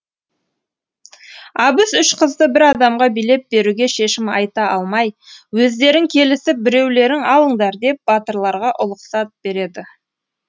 абыз үш қызды бір адамға билеп беруге шешім айта алмай өздерің келісіп біреулерің алыңдар деп батырларға ұлықсат береді